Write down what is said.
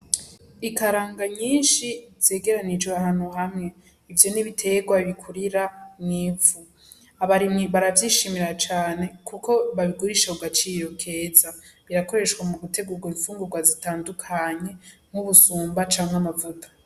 Ikaranga nyinshi zegeranijwe ahantu hamwe, ivyo n'ibitegwa bikurira mw'ivu, abarimyi baravyishimira cane kuko babigurisha ku gaciro keza, birakoreshwa mu gutegura imfungurwa zitandukanye, nk'ubusumba canke amavuta.